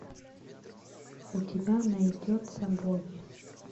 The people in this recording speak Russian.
у тебя найдется боги